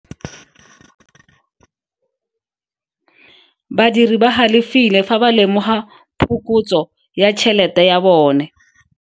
Badiri ba galefile fa ba lemoga phokotso ya tšhelete ya bone.